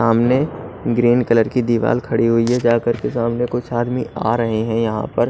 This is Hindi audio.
सामाने ग्रीन कलर की दिवाल खड़ी हुई है जा करके सामने कुछ आदमी आ रहे हैं यहां पर--